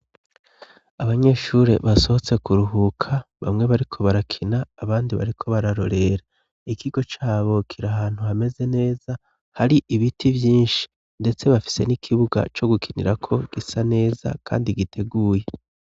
Abanyeshuri basohotse kuruhuka bamwe bariko barakina abandi bariko bararorera ikigo Cabo kiri ahantu hameze neza hari ibiti vyinshi ndetse bafise n'ikibuga co gukinira ko gisa neza kandi giteguye.